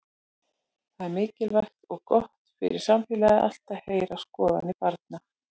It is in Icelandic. Það er mikilvægt og gott fyrir samfélagið allt að heyra skoðanir barna.